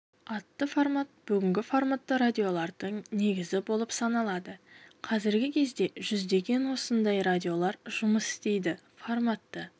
атты формат бүгінгі форматты радиолардың негізі болып саналады қазіргі кезде жүздеген осындай радиолар жұмыс істейді форматты